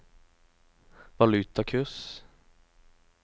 valutakurs